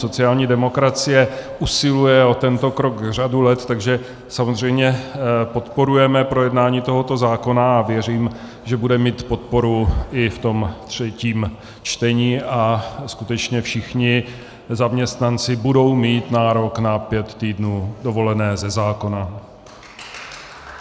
Sociální demokracie usiluje o tento krok řadu let, takže samozřejmě podporujeme projednání tohoto zákona a věřím, že bude mít podporu i v tom třetím čtení a skutečně všichni zaměstnanci budou mít nárok na pět týdnů dovolené ze zákona.